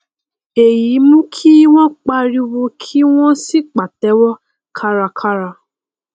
èyí mú kí wọn pariwo kí wọn sì pàtẹwọ kárakára